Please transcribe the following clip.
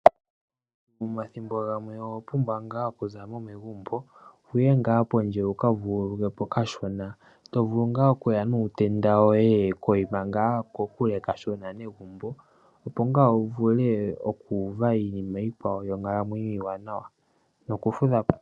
Omathimbo ngamwe owapumbwa nga okuzamo megumbo wuye nga pondje wukavululukwe po kashona, tovulu nga okuya nuutenda woye koyima nga kokule kashona megumbo opo nga wuvule okuva iinima yikwawo yonkalamwenyo iwanawa noku fudhapo.